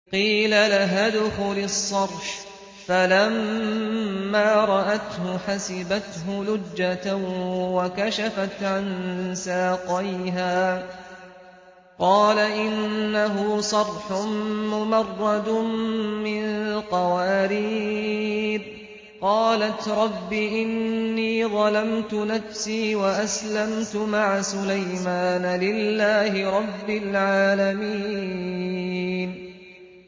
قِيلَ لَهَا ادْخُلِي الصَّرْحَ ۖ فَلَمَّا رَأَتْهُ حَسِبَتْهُ لُجَّةً وَكَشَفَتْ عَن سَاقَيْهَا ۚ قَالَ إِنَّهُ صَرْحٌ مُّمَرَّدٌ مِّن قَوَارِيرَ ۗ قَالَتْ رَبِّ إِنِّي ظَلَمْتُ نَفْسِي وَأَسْلَمْتُ مَعَ سُلَيْمَانَ لِلَّهِ رَبِّ الْعَالَمِينَ